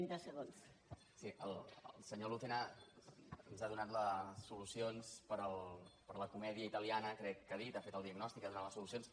el senyor lucena ens ha donat les solucions per a la comèdia italiana crec que ha dit ha fet el diagnòstic ha donat les solucions